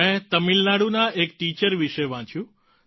મેં તમિલનાડુના એક ટિચર વિશે વાંચ્યું